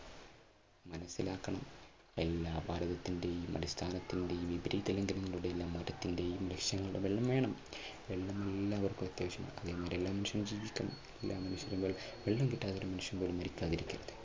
മനസ്സിലാക്കണം എല്ലാ ഭാരതത്തിന്റെയും, അടിസ്ഥാനത്തിന്റെയും മതത്തിന്റെയും ദൃശ്യങ്ങൾ, അതെല്ലാം വേണം. വെള്ളം എല്ലാവർക്കും അത്യാവശ്യമാണ് ജീവിക്കണം വെള്ളം കിട്ടാതെ ഒരു മനുഷ്യൻ പോലും മരിക്കാതിരിക്കട്ടെ. അതാണ് നമ്മുടെ ലക്ഷ്യം.